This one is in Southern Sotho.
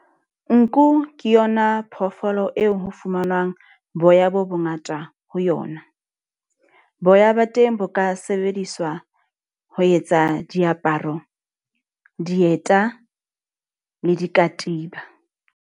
Nku ke yona phoofolo eo ho fumanwang boya bo bo ngata ho yona. Boya ba teng bo ka sebediswa ho etsa diaparo, dieta le dikatiba.